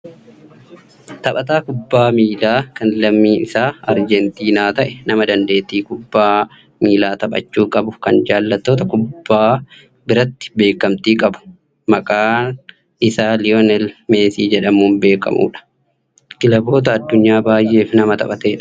taphataa kubbaa miilaa kan lammiin isaa aaljentiinaa ta'e nama dandeettii kubbaa miilaa taphachuu qabu kan jaallattoota kubbaa biratti beekkamtii qabu maqaan isaa liiwonel Meesii jedhamuun beekkamudha. kilaboota addunyaa baayyeef nama taphatedha.